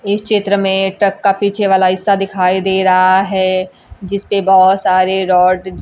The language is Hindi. इस चित्र में एक ट्रक का पीछे वाला हिस्सा दिखाई दे रहा है जिसपे बहुत सारे रॉड --